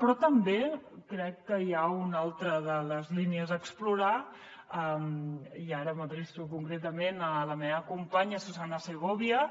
però també crec que hi ha una altra de les línies a explorar i ara m’adreço concretament a la meva companya susanna segovia